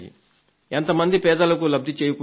ఎంత మంది పేదలకు లబ్ధిని చేకూరిందో